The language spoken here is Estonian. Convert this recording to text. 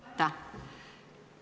Aitäh!